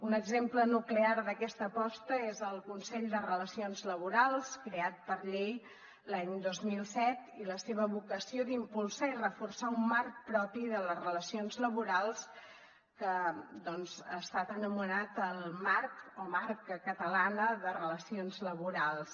un exemple nuclear d’aquesta aposta és el consell de relacions laborals creat per llei l’any dos mil set i la seva vocació d’impulsar i reforçar un marc propi de les relacions laborals que ha estat anomenat el marc o marca catalana de relacions laborals